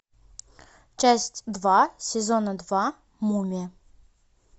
часть два сезона два мумия